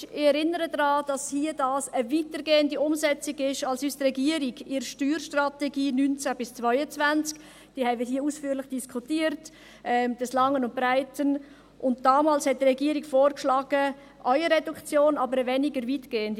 Ich erinnere daran, dass dies hier eine weitergehende Umsetzung ist als die Reduktion, die uns die Regierung in der Steuerstrategie 2019–2022 – diese haben wir hier des Langen und Breiten ausführlich diskutiert – damals vorgeschlagen hat, aber weniger weitgehend.